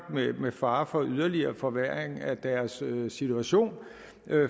med fare for en yderligere forværring af deres situation